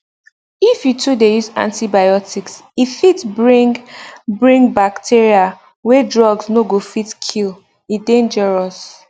if you too dey use antibiotics e fit bring fit bring bacteria wey drugs no go fit kill e dangerous